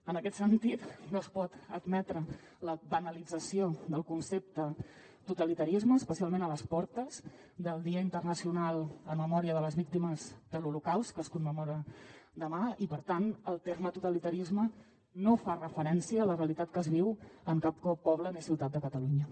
en aquest sentit no es pot admetre la banalització del concepte totalitarisme especialment a les portes del dia internacional en memòria de les víctimes de l’holocaust que es commemora demà i per tant el terme totalitarisme no fa referència a la realitat que es viu en cap poble ni ciutat de catalunya